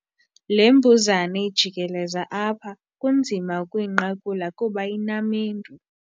Le mbuzane ijikeleza apha kunzima ukuyinqakula kuba inamendu.